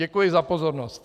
Děkuji za pozornost.